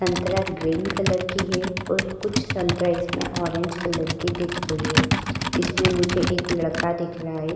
संतरा green colour की है और कुछ संतरा इसमें ऑरेंज कलर की दिख रही है। इसमें मुझे एक लड़का रहा है।